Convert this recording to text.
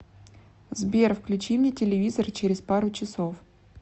сбер включи мне телевизор через пару часов